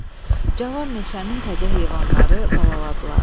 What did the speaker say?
Cavan meşənin təzə heyvanları balaladılar.